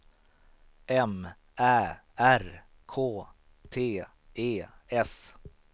M Ä R K T E S